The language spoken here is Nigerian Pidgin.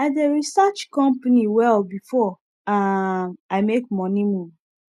i dey research company well before um i make moneymove